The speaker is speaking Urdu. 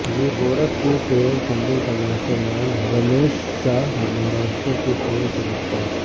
گورکھپور ٹیرر فنڈنگ کا ماسٹر مائنڈ رمیش شاہ مہاراشٹر کے پنے سے گرفتار